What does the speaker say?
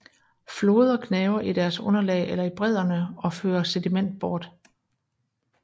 Floder gnaver i deres underlag eller i bredderne og fører sediment bort